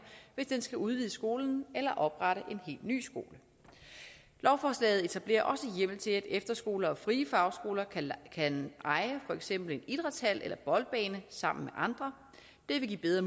hvis den skal udvide skolen eller oprette en helt ny skole lovforslaget etablerer også hjemmel til at efterskoler og frie fagskoler kan eje for eksempel en idrætshal eller en boldbane sammen andre det vil give bedre